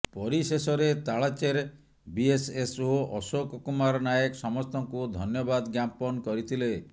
ପରିଶେଷରେ ତାଳଚେର ବିଏସଏସଓ ଅଶୋକ କୁମାର ନାୟକ ସମସ୍ତଙ୍କୁ ଧନ୍ୟବାଦ ଜ୍ଞାପନ କରିଥିଲେ